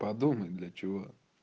подумай для чего